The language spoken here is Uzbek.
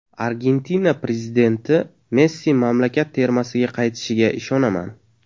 Argentina prezidenti: Messi mamlakat termasiga qaytishiga ishonaman.